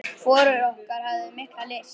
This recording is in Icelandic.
Hvorug okkar hafði mikla lyst.